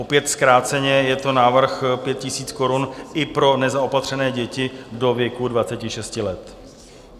Opět zkráceně, je to návrh 5 000 korun i pro nezaopatřené děti do věku 26 let.